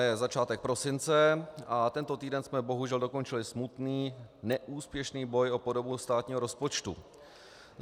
Je začátek prosince a tento týden jsme bohužel dokončili smutný neúspěšný boj o podobu státního rozpočtu.